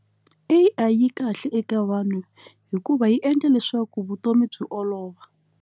A_I yi kahle eka vanhu hikuva yi endla leswaku vutomi byi olova.